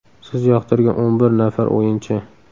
Siz yoqtirgan o‘n bir nafar o‘yinchi?